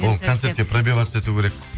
ол концертке пробиваться ету керек